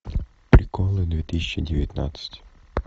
приколы две тысячи девятнадцать